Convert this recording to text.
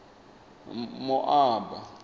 moaba